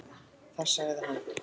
Þar sagði hann.